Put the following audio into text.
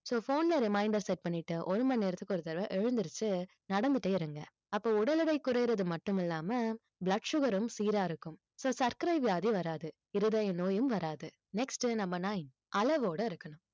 so phone ல reminder set பண்ணிட்டு ஒரு மணி நேரத்துக்கு ஒரு தடவை எழுந்திருச்சு நடந்துட்டே இருங்க அப்போ உடல் எடை குறையிறது மட்டும் இல்லாம blood sugar ம் சீரா இருக்கும் so சர்க்கரை வியாதி வராது இருதய நோயும் வராது next உ number nine அளவோட இருக்கணும்